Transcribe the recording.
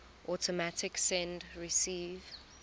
automatic send receive